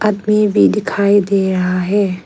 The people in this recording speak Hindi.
आदमी भी दिखाई दे रहा है।